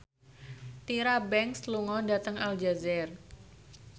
Tyra Banks lunga dhateng Aljazair